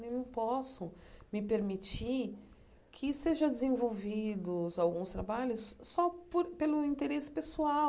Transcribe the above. Não posso me permitir que sejam desenvolvidos alguns trabalhos só por pelo interesse pessoal.